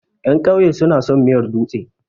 Ƴan ƙauye su na son miyar dutse.